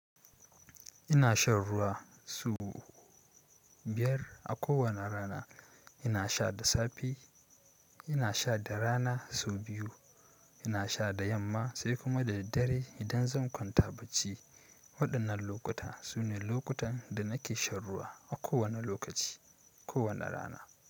Ina shan ruwa so biyar a kowane rana. Ina sha da safe, ina sha da rana sau biyu, sai kuma da yamma da dare idan zankwanta bacci. Waɗannan lokuta sune lokutan da nake shan ruwa a kowane lokaci, kowane rana.